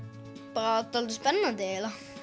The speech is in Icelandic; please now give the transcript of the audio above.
bara dálítið spennandi